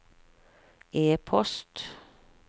e-post